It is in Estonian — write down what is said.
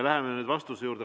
Läheme nüüd vastuse juurde.